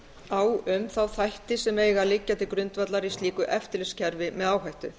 á um þá þætti sem eiga að liggja til grundvallar í slíku eftirlitskerfi með áhættu